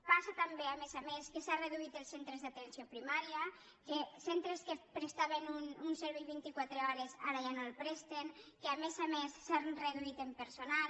passa també a més a més que s’han reduït els centres d’atenció primària que centres que prestaven un servei vint i quatre hores ara ja no el presten que a més a més s’han reduït en personal